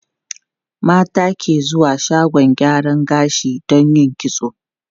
Mata ke zuwa shagon gyaran gashi don yin kitso.